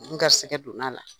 N garisɛgɛ donna la,